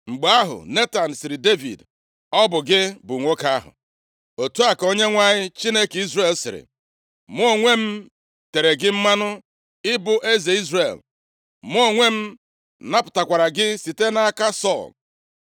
Mgbe ahụ, Netan sịrị Devid, “Ọ bụ gị bụ nwoke ahụ! Otu a ka Onyenwe anyị, Chineke Izrel sịrị, ‘Mụ onwe m tere gị mmanụ ịbụ eze Izrel, mụ onwe m napụtakwara gị site nʼaka Sọl.